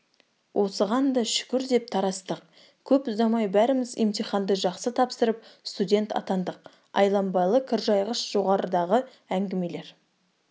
осыған да шүкір деп тарастық көп ұзамай бәріміз емтиханды жақсы тапсырып студент атандық айланбалы кіржайғышжоғарыдағы әңгімелер